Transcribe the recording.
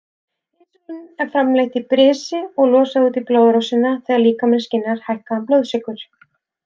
Insúlín er framleitt í brisi og losað út í blóðrásina þegar líkaminn skynjar hækkaðan blóðsykur.